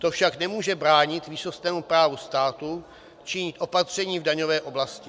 To však nemůže bránit výsostnému právu státu činit opatření v daňové oblasti.